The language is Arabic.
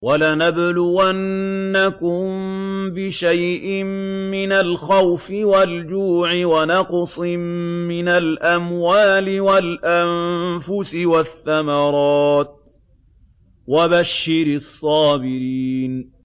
وَلَنَبْلُوَنَّكُم بِشَيْءٍ مِّنَ الْخَوْفِ وَالْجُوعِ وَنَقْصٍ مِّنَ الْأَمْوَالِ وَالْأَنفُسِ وَالثَّمَرَاتِ ۗ وَبَشِّرِ الصَّابِرِينَ